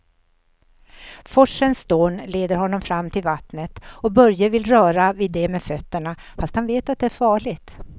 Forsens dån leder honom fram till vattnet och Börje vill röra vid det med fötterna, fast han vet att det är farligt.